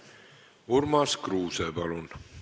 Urmas Kruuse, palun!